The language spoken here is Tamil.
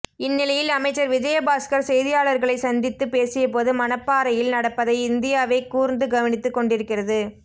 இந்நிலையில் அமைச்சர் விஜயபாஸ்கர் செய்தியாளர்களை சந்தித்து பேசியபோது மணப்பறையில் நடப்பதை இந்தியாவே கூர்ந்து கவனித்து கொண்டிருக்கிறது